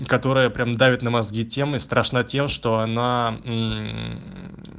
которая прямо давит на мозги тем и страшна тем что она м